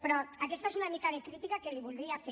però aquesta és una mica de la crítica que li voldria fer